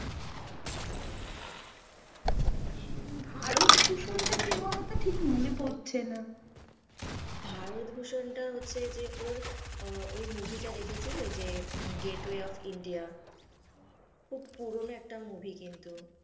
ভারতভূসুন টা কে বলতো ঠিক মনে পড়ছে না, ভারতভূসুন টা হচ্ছে যে ওর ওই movie টা কে দেখেছিলে গেটওয়ে অফ ইন্ডিয়া খুব পুরনো একটা movie কিন্তু।